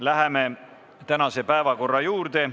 Läheme tänaste päevakorrapunktide juurde.